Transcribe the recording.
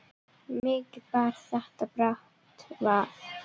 Mikið bar þetta brátt að.